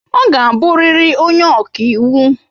Ọ ga-abụrịrị onye ọka iwu!